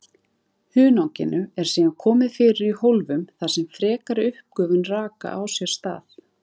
Hunanginu eru síðan komið fyrir í hólfum þar sem frekari uppgufun raka á sér stað.